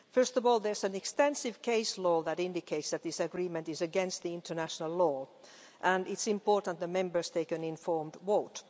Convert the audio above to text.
First of all, there is an extensive case law that indicates that this agreement is against international law, and it's important that Members take an informed vote.